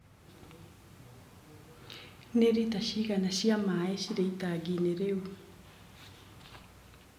Nĩ lita cigana cia maaĩ cirĩ itanginĩ rĩu?